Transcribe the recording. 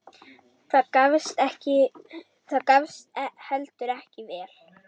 Það gafst heldur ekki vel.